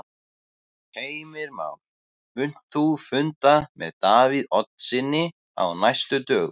Heimir Már: Munt þú funda með Davíð Oddssyni á næstu dögum?